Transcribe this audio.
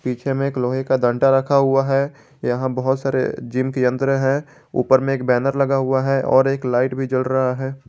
पीछे में एक लोहे का डंटा रखा हुआ है यहां बहोत सारे जिम के यंत्र है ऊपर में एक बैनर लगा हुआ है और एक लाइट भी जल रहा है।